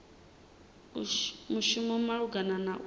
mushumi malugana na u ta